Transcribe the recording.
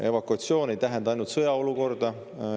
Evakuatsioon ei tähenda ainult sõjaolukorda.